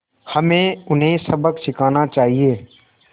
हमें उन्हें सबक सिखाना चाहिए